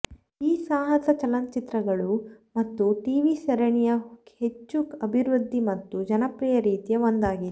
ಈ ಸಾಹಸ ಚಲನಚಿತ್ರಗಳು ಮತ್ತು ಟಿವಿ ಸರಣಿಯ ಹೆಚ್ಚು ಅಭಿವೃದ್ಧಿ ಮತ್ತು ಜನಪ್ರಿಯ ರೀತಿಯ ಒಂದಾಗಿದೆ